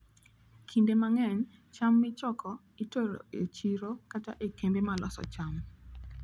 Kinde mang'eny, cham michoko itero e chiro kata e kembe ma loso cham.